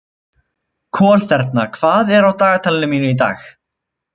Kolþerna, hvað er á dagatalinu mínu í dag?